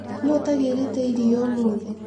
Nũu ũtagĩrĩte iria ũmũthĩ.